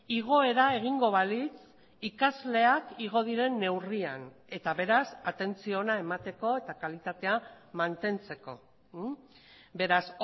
igoera egingo balitz ikasleak igo diren neurrian eta beraz atentzio ona emateko eta kalitatea mantentzeko beraz